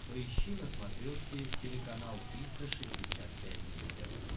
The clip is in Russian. поищи на смотрешке телеканал триста шестьдесят пять дней тв